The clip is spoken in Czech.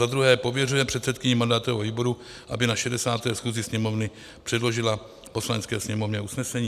Za druhé, pověřuje předsedkyni mandátového výboru, aby na 60. schůzi Sněmovny předložila Poslanecké sněmovně usnesení.